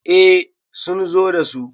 eh sun zo da su